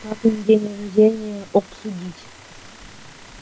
папин день рождения обсудить